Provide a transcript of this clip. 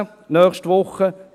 2018, nächste Woche: